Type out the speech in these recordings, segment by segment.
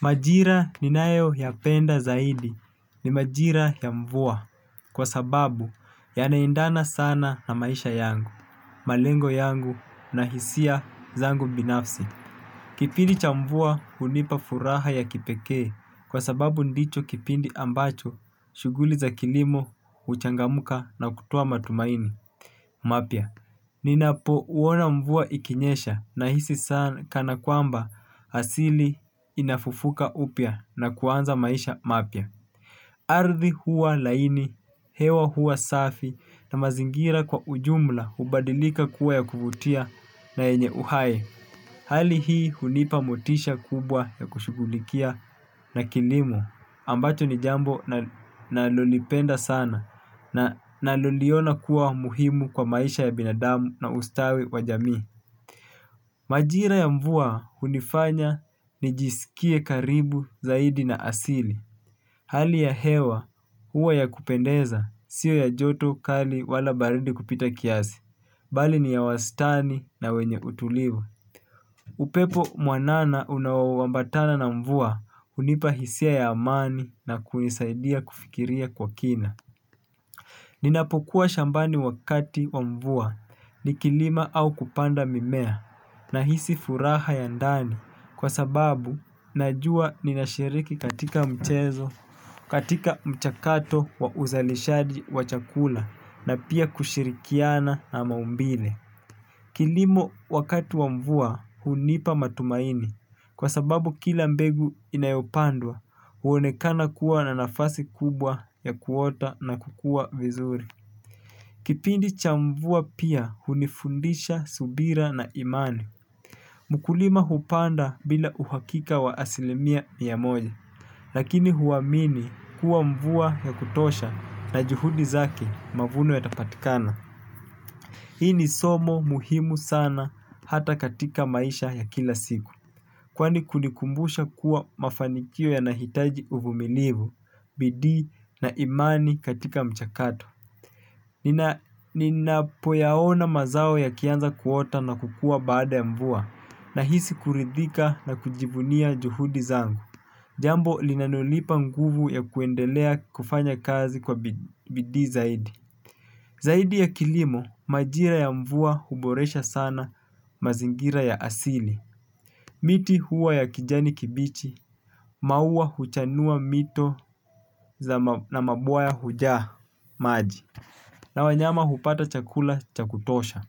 Majira ninayo ya penda zaidi ni majira ya mvua kwa sababu yanaendana sana na maisha yangu, malengo yangu na hisia zangu binafsi. Kipidi cha mvua hunipa furaha ya kipekee kwa sababu ndicho kipindi ambacho shughuli za kilimo huchangamka na kutoa matumaini. Mapya, ninapo uona mvua ikinyesha nahisi sana kana kwamba asili inafufuka upya na kuanza maisha mapya. Ardhi huwa laini, hewa huwa safi na mazingira kwa ujumla hubadilika kuwa ya kuvutia na yenye uhai. Hali hii hunipa motisha kubwa ya kushughulikia na kilimo ambacho ni jambo na nalolipenda sana na naloliona kuwa muhimu kwa maisha ya binadamu na ustawi wa jami. Majira ya mvua hunifanya nijiskie karibu zaidi na asili. Hali ya hewa huwa ya kupendeza sio ya joto kali wala baridi kupita kiazi. Bali ni ya wastani na wenye utuliva. Upepo mwanana unaoambatana na mvua hunipa hisia ya amani na hunisaidia kufikiria kwa kina. Ninapokuwa shambani wakati wa mvua nikilima au kupanda mimea nahisi furaha ya ndani kwa sababu najua ninashiriki katika mchezo, katika mchakato ya uzalishaji wa chakula na pia kushirikiana na maumbile. Kilimo wakati wa mvua hunipa matumaini kwa sababu kila mbegu inayopandwa huonekana kuwa na nafasi kubwa ya kuota na kukua vizuri. Kipindi cha mvua pia hunifundisha subira na imani. Mkulima hupanda bila uhakika wa asilimia mia moja. Lakini huamini kuwa mvua ya kutosha na juhudi zake mavuno yata patikana. Hii ni somo muhimu sana hata katika maisha ya kila siku. Kwani kunikumbusha kuwa mafanikio yanahitaji uvumilivu, bidii na imani katika mchakato. Ninapoyaona mazao yakianza kuota na kukua baada ya mvua nahisi kuridhika na kujivunia juhudi zangu. Jambo linalo nipa nguvu ya kuendelea kufanya kazi kwa bidii zaidi. Zaidi ya kilimo, majira ya mvua huboresha sana mazingira ya asili. Miti huwa ya kijani kibichi maua huchanua mito na mabwawa hujaa maji na wanyama hupata chakula cha kutosha.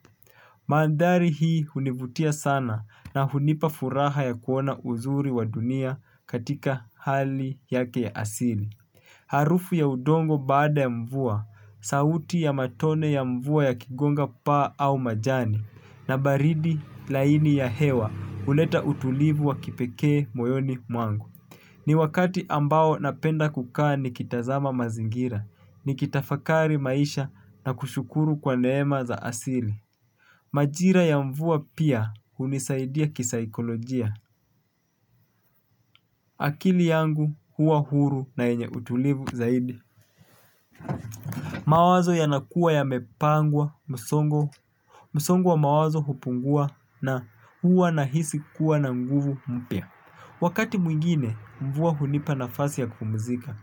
Maandari hii hunivutia sana na hunipa furaha ya kuona uzuri wa dunia katika hali yake ya asili. Harufu ya udongo baada ya mvua, sauti ya matone ya mvua ya kigonga paa au majani na baridi laini ya hewa huleta utulivu wa kipekee moyoni mwangu. Ni wakati ambao napenda kukaa ni kitazama mazingira, nikitafakari maisha na kushukuru kwa neema za asili. Majira ya mvua pia hunisaidia kisaikolojia. Akili yangu huwa huru na yenye utulivu zaidi. Mawazo yanakua yamepangwa, msongo, msongo wa mawazo hupungua na huwa nahisi kuwa na nguvu mpya. Wakati mwingine, mvua hunipa nafasi ya kupumzika,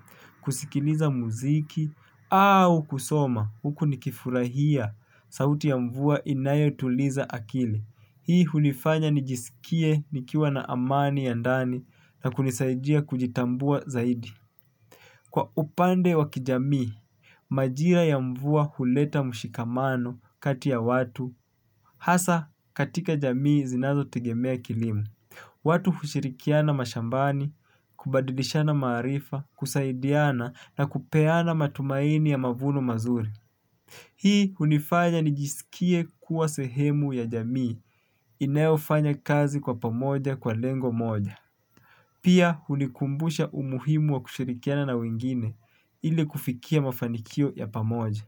kusikiliza mziki, au kusoma, huku nikifurahia sauti ya mvua inayo tuliza akili. Hii hunifanya nijiskie nikiwa na amani ya ndani na kunisaidia kujitambua zaidi. Kwa upande wa kijamii, majira ya mvua huleta mshikamano kati ya watu, hasa katika jamii zinazo tegemea kilimo. Watu hushirikiana mashambani, kubadilishana maarifa, kusaidiana na kupeana matumaini ya mavuno mazuri. Hii hunifanya nijiskie kuwa sehemu ya jamii inayofanya kazi kwa pamoja kwa lengo moja. Pia hunikumbusha umuhimu wa kushirikiana na wengine ili kufikia mafanikio ya pamoja.